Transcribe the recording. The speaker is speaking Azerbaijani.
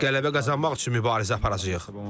Qələbə qazanmaq üçün mübarizə aparacağıq.